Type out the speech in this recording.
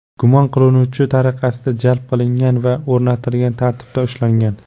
gumon qilinuvchi tariqasida jalb qilingan va o‘rnatilgan tartibda ushlangan.